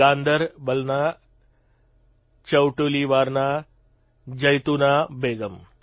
ગાંદરબલના ચૌટલીવારના જૈતુના બેગમ